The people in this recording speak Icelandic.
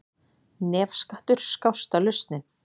Nefskattur skásta lausnin